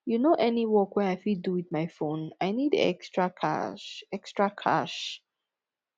you know any work wey i fit do wit my phone i need extra cash extra cash